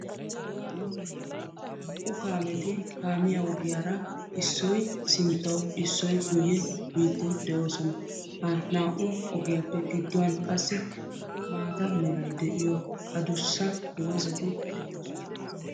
Naa"u kaameti kaamiyaa ogiyaara issoy sinttaw issoy guyye biiddi de'oosona. Ha naa"u ogiyaappe gidduwan qassi maata meray de"iyo adussa doozzati de'oosona.